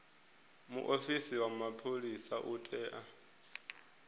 muofisi wa mapholisa u tea